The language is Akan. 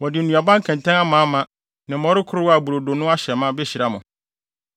Wɔde nnuaba nkɛntɛn amaama, ne mmɔre korow a brodo no ahyɛ ma behyira mo.